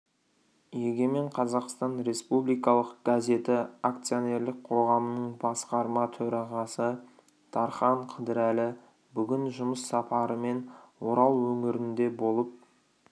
егемен қазақстан республикалық газеті акционерлік қоғамының басқарма төрағасы дархан қыдырәлі бүгін жұмыс сапарымен орал өңірінде болып